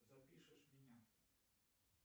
запишешь меня